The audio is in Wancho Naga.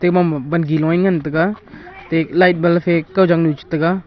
te mong ma bangi loe ngan taiga te light bal kaw jangnu chetega.